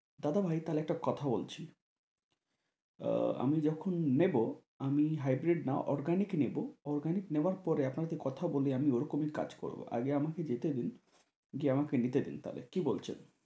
দাদাভাই তা হলে একটা কথা বলছি আহ আমি যখন নেবো আমি hybrid না organic নেবো organic পরে আপনাকে কথা বলে আমি ওইরকমই কাজ করবো আগে আমাকে যেতে দিন গিয়ে আমাকে নিতে দিন তা হলে কি বলছেন?